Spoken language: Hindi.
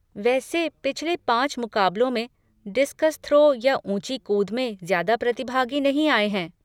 वैसे, पिछले पाँच मुकाबलों में डिस्कस थ्रो या ऊँची कूद में ज्यादा प्रतिभागी नहीं आए हैं।